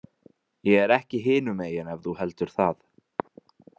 Ég er ekki hinumegin ef þú heldur það.